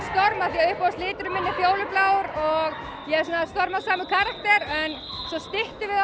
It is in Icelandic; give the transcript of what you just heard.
því að uppáhaldsliturinn minn er fjólublár og ég er svona stormasamur karakter en svo styttum við